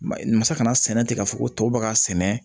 Masa kana sɛnɛ ten k'a fɔ ko tɔw bɛ ka sɛnɛ